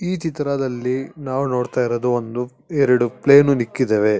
ಈ ಚಿತ್ರದಲ್ಲಿ ನಾವು ನೋಡ್ತಾ ಇರೋದು ಒಂದು ಎರಡು ಪ್ಲೈನು ಇಕ್ಕಿದವೇ.